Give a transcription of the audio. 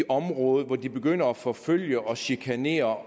område hvor de begynder at forfølge og chikanere